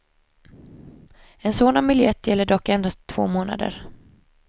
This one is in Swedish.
En sådan biljett gäller dock endast två månader.